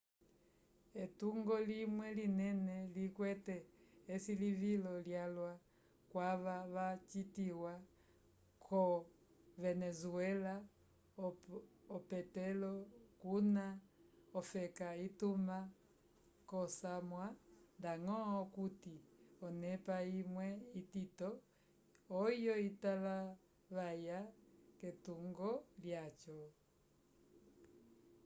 etungo limwe linene likwete esilivilo lyalwa kwava vacitiwa ko venezuela opetolo kuna ofeka ituma k'osamwa ndañgo okuti onepa imwe itito oyo italavaya k'etungo lyaco